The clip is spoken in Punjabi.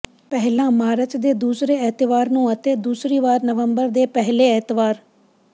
ਪਹਿਲਾਂ ਮਾਰਚ ਦੇ ਦੂਸਰੇ ਐਤਵਾਰ ਨੂੰ ਅਤੇ ਦੂਸਰੀ ਵਾਰ ਨਵੰਬਰ ਦੇ ਪਹਿਲੇ ਐਤਵਾਰ